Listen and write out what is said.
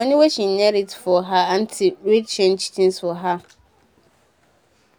d moni wey she inherit from her anty really change tins for her